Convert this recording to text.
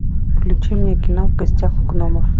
включи мне кино в гостях у гномов